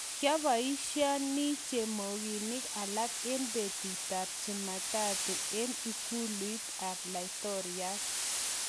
kiabishani chamoginik alak eng betut ab cheemataatu eng ikuluit ab laitoriat